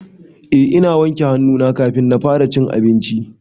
Eh na wanke hannu na kafin na fara cin abinci.